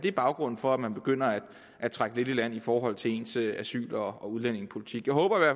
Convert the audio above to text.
er baggrunden for at man begynder at trække lidt i land i forhold til ens asyl og udlændingepolitik jeg håber